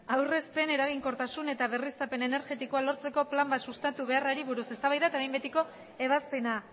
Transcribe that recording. aurrezpen eraginkortasun eta berriztapen energetikoa lortzeko plan bat sustatu beharrari buruz eztabaida eta behin betiko ebazpena